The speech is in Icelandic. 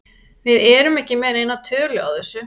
Við erum ekki með neina tölu á þessu.